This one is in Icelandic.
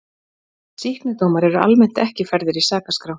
Sýknudómar eru almennt ekki færðir í sakaskrá.